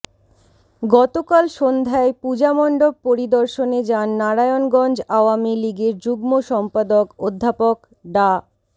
গতকাল সন্ধ্যায় পূজামণ্ডপ পরিদর্শনে যান নারায়ণগঞ্জ আওয়ামী লীগের যুগ্ম সম্পাদক অধ্যাপক ডা